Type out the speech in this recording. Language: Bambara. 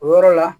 O yɔrɔ la